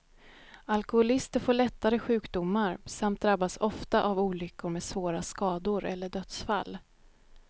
Alkoholister får lättare sjukdomar, samt drabbas ofta av olyckor med svåra skador eller dödsfall.